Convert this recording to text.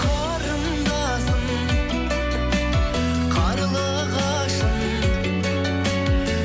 қарындасым қарлығашым